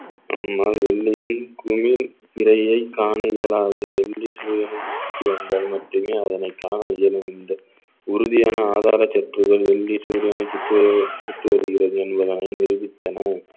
நம்மால் வெள்ளியும் குமிழ் பிறையைக் காண இயலாது வெள்ளி செவ்வையை சுற்றி வந்தால் மட்டுமே அதனைக் காண இயலும் இந்த உறுதியான ஆதார சுற்றுகள் வெள்ளி சூரியனை சுற்று வரு~ வருகிறது என்பதனை நிரூபித்தனர்